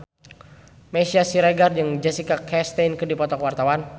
Meisya Siregar jeung Jessica Chastain keur dipoto ku wartawan